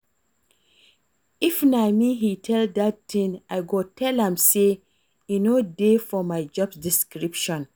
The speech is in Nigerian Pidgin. If na me he tell dat thing I go tell am say e no dey for my job description